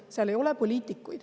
Seal ei ole poliitikuid.